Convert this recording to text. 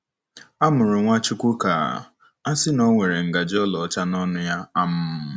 A mụrụ Nwachukwu ka a sị na o were ngaji ọlaọcha n'ọnụ ya? um